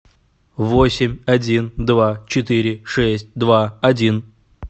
восемь один два четыре шесть два один